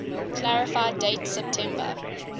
clarify date september